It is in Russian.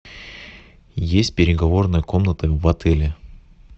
есть переговорная комната в отеле